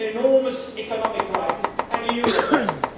An enormous economic crisis and a euro crisis.